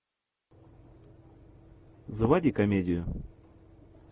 заводи комедию